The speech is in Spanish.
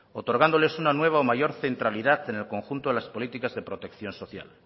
otorgándoles una nueva o mayor centralidad en el conjunto de protección social